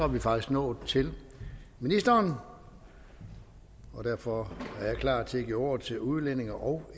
vi faktisk nået til ministeren og derfor er jeg klar til at give ordet til udlændinge og